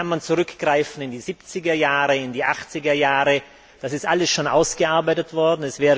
Da kann man zurückgreifen in die Siebzigerjahre, in die Achtzigerjahre, das ist alles schon ausgearbeitet worden.